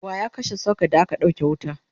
waya kashe socket da aka ɗauke wuta?